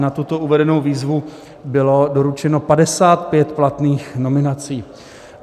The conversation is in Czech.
Na tuto uvedenou výzvu bylo doručeno 55 platných nominací.